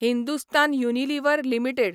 Hindustan Unilever limited